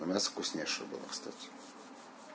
а мясо вкуснейшее было кстати